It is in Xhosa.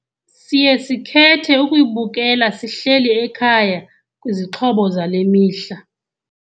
Siye sikhethe ukuyibukela sihleli ekhaya kwizixhobo zale mihla.